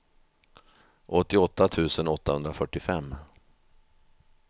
åttioåtta tusen åttahundrafyrtiofem